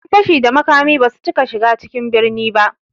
Ƴan fashi da makami basu cika shiga cikin birni ba